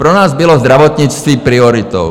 Pro nás bylo zdravotnictví prioritou.